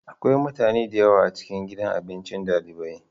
Akwai mutane da yawa a cikin gidan abinci dalibai.